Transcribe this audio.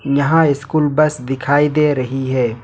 यहां school bus दिखाई दे रही है।